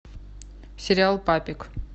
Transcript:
сериал папик